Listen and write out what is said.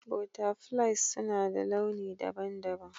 Butterflies suna da launi daban-daban.